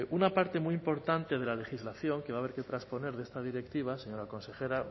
una parte muy importante de la legislación que va a haber que transponer de esta directiva señora consejera